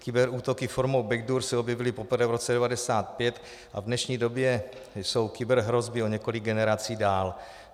Kyberútoky formou backdoor se objevily poprvé v roce 1995 a v dnešní době jsou kyberhrozby o několik generací dál.